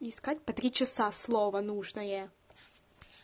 и искать по три часа слово нужное